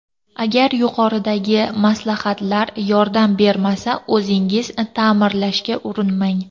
Agar yuqoridagi maslahatlar yordam bermasa, o‘zingiz ta’mirlashga urinmang.